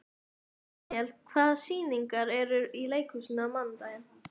Daniel, hvaða sýningar eru í leikhúsinu á mánudaginn?